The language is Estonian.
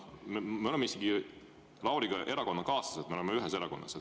Me oleme Lauriga isegi erakonnakaaslased, me oleme ühes erakonnas.